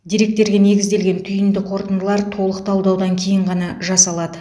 деректерге негізделген түйінді қорытындылар толық талдаудан кейін ғана жасалады